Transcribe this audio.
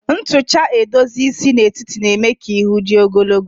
Ntucha edozi isi n'etiti na-eme ka ihu dị ogologo